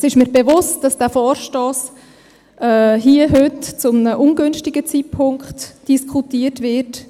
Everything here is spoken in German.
Es ist mir bewusst, dass dieser Vorstoss, wegen der Vorstossflut, die wir sie haben, hier und heute zu einem ungünstigen Zeitpunkt diskutiert wird.